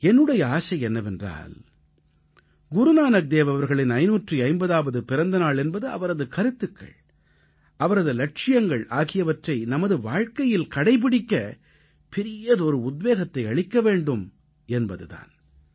என்னுடைய ஆசை என்னவென்றால் குருநானக்தேவ் அவர்களின் 550ஆவது பிறந்தநாள் என்பது அவரது கருத்துக்கள் அவரது இலட்சியங்கள் ஆகியவற்றை நமது வாழ்க்கையில் கடைப்பிடிக்க பெரியதொரு உத்வேகத்தை அளிக்க வேண்டும் என்பது தான்